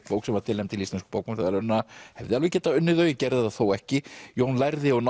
bók sem var tilnefnd til Íslensku bókmenntaverðlaunanna hefði alveg getað unnið þau gerði það þó ekki Jón lærði og